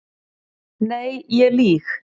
Nei ég lýg.